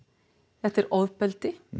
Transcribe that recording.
þetta er ofbeldi